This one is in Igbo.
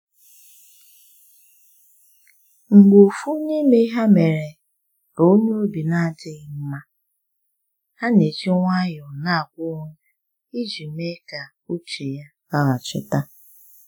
Mgbe ofu n’ime ha mere ka onye obi n'adịghị mma, ha n'eji nwayo n'agwa onwe ha i ji mee ka uche ya laghachita.